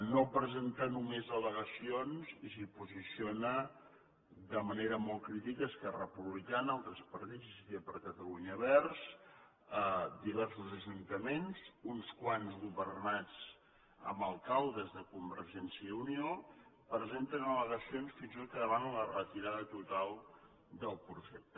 no presenta només al·legacions i s’hi posiciona de manera molt crítica esquerra republicana altres partits iniciativa per catalunya verds diversos ajuntaments uns quants governats per alcaldes de convergència i unió presenten al·legacions fins i tot que demanen la retirada total del projecte